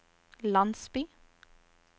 landsby